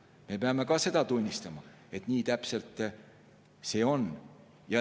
Me peame ka seda tunnistama, et nii see täpselt on.